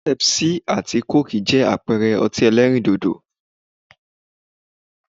Pepsi àti coke jẹ́ àpẹẹrẹ ọtí ẹlẹ́rìndòdò